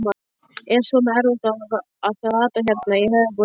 Er svona erfitt að rata hérna í höfuðborginni?